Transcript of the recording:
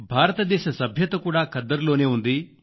భారతదేశ సభ్యత కూడా ఖద్దరులోనే ఉంది